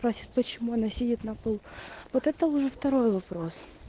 просит почему она сидит на полу вот это уже второй вопрос